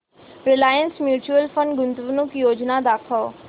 Reliance mutual fund गुंतवणूक योजना दाखव